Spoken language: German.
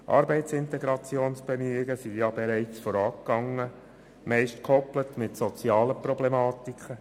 Schliesslich sind bereits Arbeitsintegrationsbemühungen vorausgegangen, meist gekoppelt mit sozialen Problematiken.